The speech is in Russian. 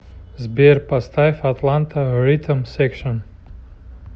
сбер поставь атланта ритм секшн